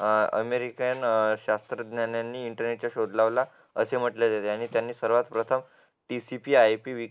अह अमेरिकन शास्त्रज्ञांनी इंटरनेटचा शोध लावला असे म्हटले आहे त्यांनी सर्वात प्रथम TCPIP